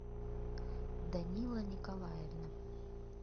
данила николаевна